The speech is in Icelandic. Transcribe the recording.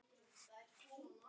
og Óðinn spurði